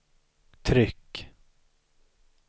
tryck